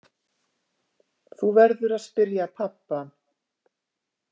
Þú verður að spyrja pabba.